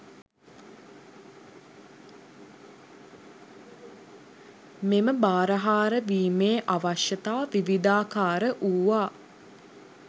මෙම බාරහාර වීමේ අවශ්‍යතා විවිධාකාර වූවා